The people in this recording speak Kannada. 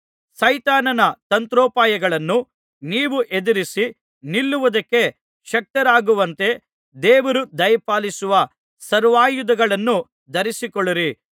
ಸೈತಾನನ ತಂತ್ರೋಪಾಯಗಳನ್ನು ನೀವು ಎದುರಿಸಿ ನಿಲ್ಲುವುದಕ್ಕೆ ಶಕ್ತರಾಗುವಂತೆ ದೇವರು ದಯಪಾಲಿಸುವ ಸರ್ವಾಯುಧಗಳನ್ನು ಧರಿಸಿಕೊಳ್ಳಿರಿ